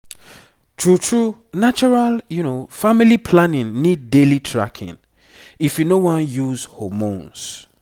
true true natural family planning need daily tracking if you no wan use hormones